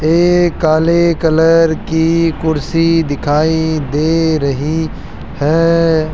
ए काले कलर की कुर्सी दिखाई दे रही है।